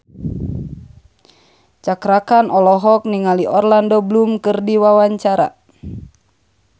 Cakra Khan olohok ningali Orlando Bloom keur diwawancara